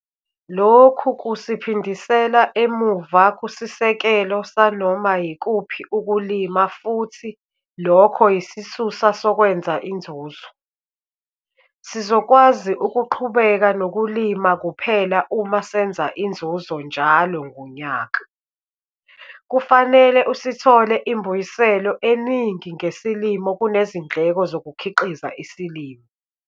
Lokhu kusiphindisela emuva kusisekelo sanoma yikuphi ukulima futhi lokho yisisusa sokwenza inzuzo. Sizokwazi ukuqhubeka nokulima kuphela uma senza inzuzo njalo ngonyaka - kufanele usithole imbuyiselo eningi ngesilimo kunezindleko zokukhiqiza isilimo.